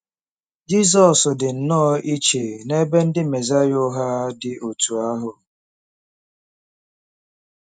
Jizọs dị nnọọ iche n'ebe ndị Mesaya ụgha dị otú ahụ.